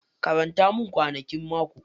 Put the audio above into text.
Karanta min kwanakin mako.